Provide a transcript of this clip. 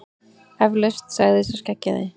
Eflaust, sagði sá skeggjaði.